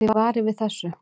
Þið varið við þessu?